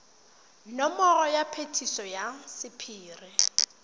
nomoro ya phetiso ya sephiri